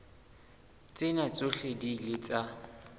tsena tsohle di ile tsa